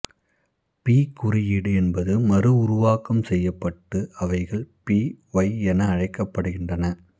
B குறியீடு என்பது மறு உருவாக்கம் செய்யப்பட்டு அவைகள் பி ஒய் என அழைக்கப்படுகின்றன